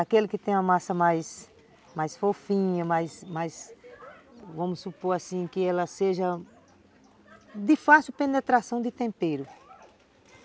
Aquele que tem uma massa mais... mais fofinha, mais, mais... vamos supor assim, que ela seja... de fácil penetração do tempero.